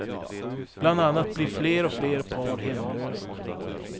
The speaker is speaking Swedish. Bland annat blir fler och fler par hemlösa.